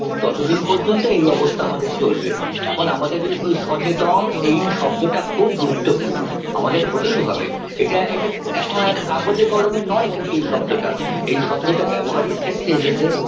ততদিন পর্যন্ত এই অবস্থা আমাদের চলবে এখন আমাদের ঐ ঐ সচেতন এই শব্দটা খুব গুরুত্বপূর্ণ আমাদের হতেই হবে এটা এটা এখন একটা কাগজে কলমে নয় কিন্তু এই শব্দটা এই শব্দটা ব্যবহারিক ক্ষেত্রে এসেছে